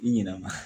I ɲɛna